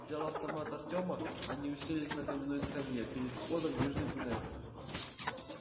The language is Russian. взяв автомат артема они уселись на каменной скамье перед входом в южный туннель